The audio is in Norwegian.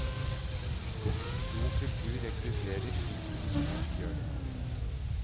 God kultur rekrutterer slik god sport gjør det.